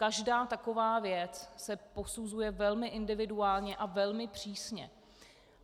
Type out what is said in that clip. Každá taková věc se posuzuje velmi individuálně a velmi přísně.